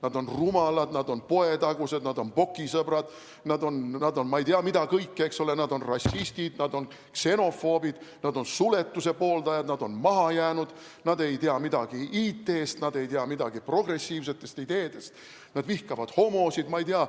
Nad on rumalad, nad on poetagused, nad on Bocki-sõbrad, nad on ei tea mida kõike, eks ole, nad on rassistid, nad on ksenofoobid, nad on suletuse pooldajad, nad on maha jäänud, nad ei tea midagi IT-st, nad ei tea midagi progressiivsetest ideedest, nad vihkavad homosid.